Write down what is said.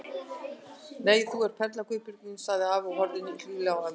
Nei, þú ert perla Guðbjörg mín sagði afi og horfði hlýlega á ömmu.